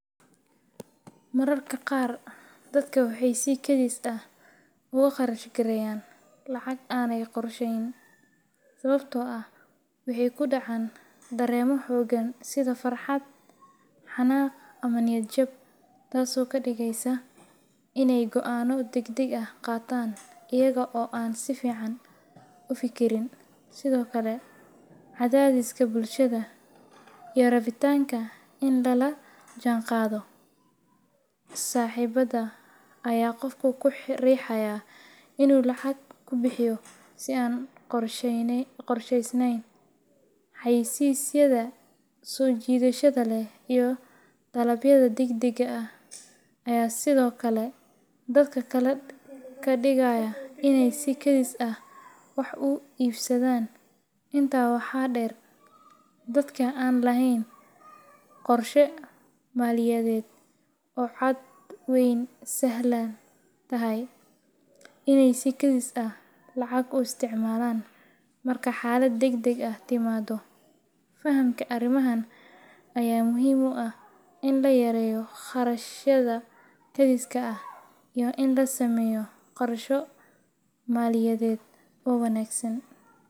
Mararka qaar dadka waxay si kedis ah uga kharash gareeyaan lacag aanay qorsheyn sababtoo ah waxay ku dhacaan dareenno xooggan sida farxad, xanaaq, ama niyad-jab, taasoo ka dhigaysa inay go’aanno degdeg ah qaataan iyaga oo aan si fiican u fikirin. Sidoo kale, cadaadiska bulshada iyo rabitaanka in lala jaanqaado saaxiibada ayaa qofka ku riixaya inuu lacag ku bixiyo si aan qorsheysnayn. Xayeysiisyada soo jiidashada leh iyo dalabyada degdega ah ayaa sidoo kale dadka ka dhigaya inay si kedis ah wax u iibsadaan. Intaa waxaa dheer, dadka aan lahayn qorshe maaliyadeed oo cad waxay sahlan tahay inay si kedis ah lacag u isticmaalaan marka xaalad degdeg ah timaado. Fahamka arrimahan ayaa muhiim u ah in la yareeyo kharashyada kediska ah iyo in la sameeyo qorshe maaliyadeed oo wanaagsan.